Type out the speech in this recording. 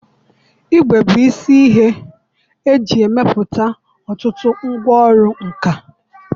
Igwè bụ isi ihe eji arụpụta ọtụtụ ngwa ọrụ nka